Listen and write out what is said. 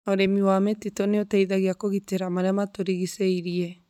Ũrĩmi wa mĩtitũ nĩ ũteithagia kũgitĩra marĩa matũrigicĩirie.